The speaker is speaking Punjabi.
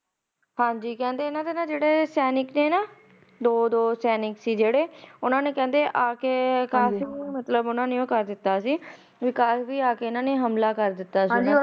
ਹਾਜੀ ਕਹਿੰਦੇ ਇਨਾ ਦੇ ਜਿਹੜੇ ਸੈਨਿਕ ਸੀ ਦੋ ਦੋ ਸੈਨਿਕ ਸੀ ਉਨਾ ਨੇ ਆ ਕੇ ਆ ਕਾਫੀ ਕਰ ਦਿੱਤਾ ਹਮਲਾ ਕਰ ਦਿੱਤਾ ਸੀ